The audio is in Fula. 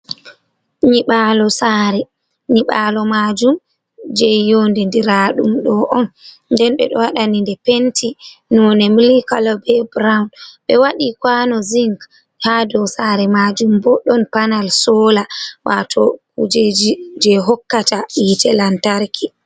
Nyiɓalo saare, nyiɓalo majum je yonde dira ɗum ɗo on, nden ɓe o wadani nde penti nonde milk kala, be broun, be wadi kwano zing ha dau saare majum bo don panal sola, wato kujeji je hokkata yite lantarki.